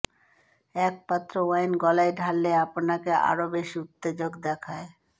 এক পাত্র ওয়াইন গলায় ঢাললে আপনাকে আরও বেশি উত্তেজক দেখায়